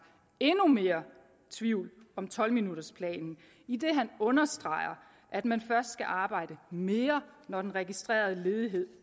endnu mere tvivl om tolv minutters planen idet han understreger at man først skal arbejde mere når den registrerede ledighed